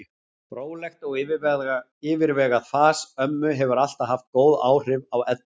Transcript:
Rólegt og yfirvegað fas ömmu hefur alltaf haft góð áhrif á Eddu.